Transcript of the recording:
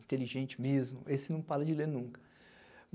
inteligente mesmo, esse não para de ler nunca.